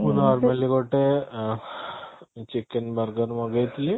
ମୁଁ ଭାବିଲି ଗୋଟେ ଅଂ chicken burger ମଗେଇଥିଲି